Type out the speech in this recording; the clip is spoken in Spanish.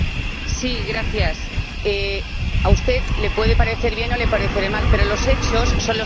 A usted le puede parecer bien o le parecerá mal, pero los hechos son los hechos.